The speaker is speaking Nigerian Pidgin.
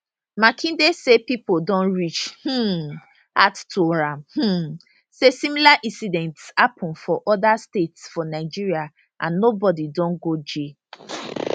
makinde say pipo don reach um out to am um say similar incidents happun for oda states for nigeria and nobody don go jail